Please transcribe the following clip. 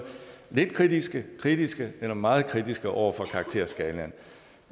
lidt kritiske kritiske eller meget kritiske over for karakterskalaen